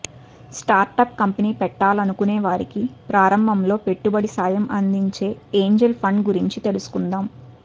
startup company పెట్టాలనుకునే వారికి ప్రారంభంలో పెట్టుబడి సాయం అందించే ఏంజిల్ ఫండ్ల గురించి తెలుసుకుందాం